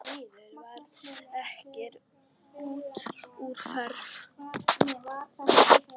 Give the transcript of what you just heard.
Því miður varð ekkert úr þeirri ferð.